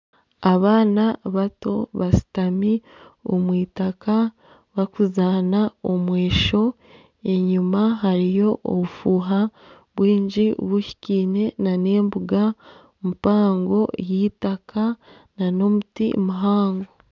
Abaana bato bashutami omwitaka bakuzaana omwesho. Enyima hariyo obufuha bwingi buhikiine nana embuga mpango y'itaka nana omuti muhango.